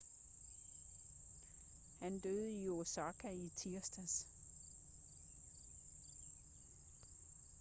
han døde i osaka i tirsdags